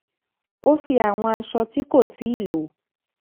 ó fi àwọn aṣọ ti ko tii lò